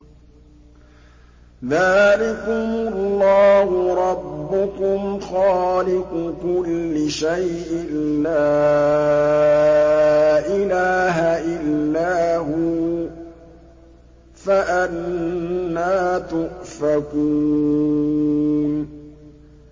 ذَٰلِكُمُ اللَّهُ رَبُّكُمْ خَالِقُ كُلِّ شَيْءٍ لَّا إِلَٰهَ إِلَّا هُوَ ۖ فَأَنَّىٰ تُؤْفَكُونَ